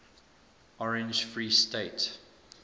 orange free state